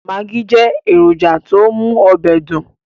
Magí jẹ́ èrònjà tó mú ọbẹ̀ dùn